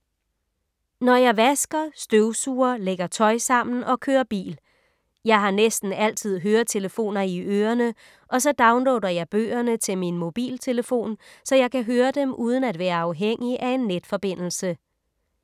Når jeg vasker, støvsuger, lægger tøj sammen og kører bil. Jeg har næsten altid høretelefoner i ørerne og så downloader jeg bøgerne til min mobiltelefon, så jeg kan høre dem uden at være afhængig af en netforbindelse.